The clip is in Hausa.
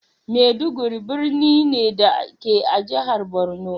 Maiduguri birni ne, da ke a jihar Borno.